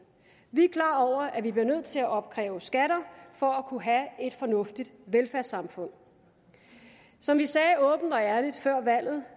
vi er klar over at vi bliver nødt til at opkræve skatter for at kunne have et fornuftigt velfærdssamfund som vi sagde åbent og ærligt før valget